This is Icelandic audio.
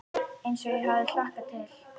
Eins og ég hafði hlakkað til.